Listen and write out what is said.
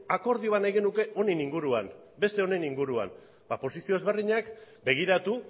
akordio bat nahi genuke honen inguruan beste honen inguruan ba posizio ezberdinak begiratu